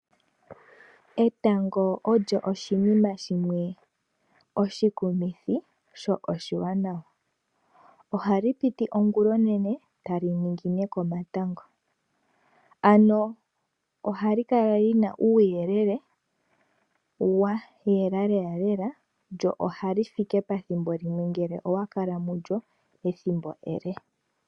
Etango olyo oshinima shimwe oshikumithi sho oshiwanawa. Ohali piti ongulonene etali ningine komatango. Ano ohali kala lina uuyelele wa yela lela lela lyo ohali fike pethimbo limwe ngele owa kala mulyo thimbo ele.